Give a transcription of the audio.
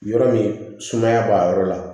Yɔrɔ min sumaya b'a yɔrɔ la